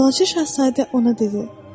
Balaca Şahzadə ona dedi: